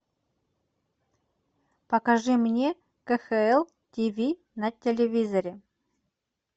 покажи мне кхл тв на телевизоре